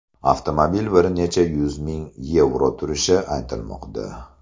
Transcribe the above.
Avtomobil bir necha yuz ming yevro turishi aytilmoqda.